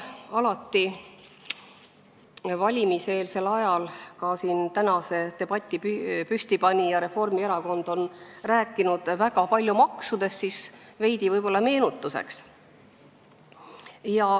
Kuna valimiseelsel ajal on alati räägitud ja ka tänase debati püstipanija Reformierakond on rääkinud väga palju maksudest, siis veidi meenutuseks.